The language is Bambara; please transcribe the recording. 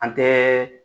An tɛ